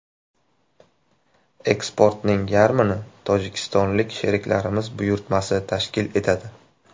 Eksportning yarmini tojikistonlik sheriklarimiz buyurtmasi tashkil etadi.